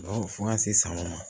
fo ka se sanko ma